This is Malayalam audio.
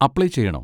അപ്ലൈ ചെയ്യണോ?